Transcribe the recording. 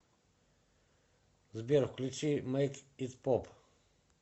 сбер включи мэйк ит поп